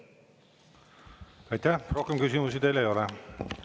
Rohkem küsimusi teile ei ole.